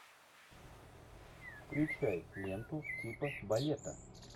включай ленту типа балета